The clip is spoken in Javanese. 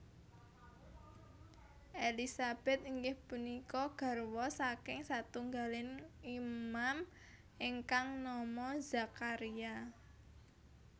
Elisabet inggih punika garwa saking satunggaling Imam ingkang nama Zakharia